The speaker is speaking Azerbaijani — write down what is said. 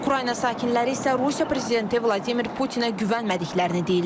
Ukrayna sakinləri isə Rusiya prezidenti Vladimir Putinə güvənmədiklərini deyirlər.